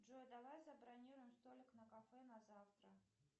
джой давай забронируем столик на кафе на завтра